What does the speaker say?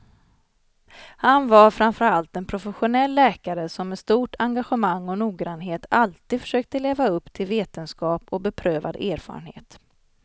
Han var framför allt en professionell läkare som med stort engagemang och noggrannhet alltid försökte leva upp till vetenskap och beprövad erfarenhet.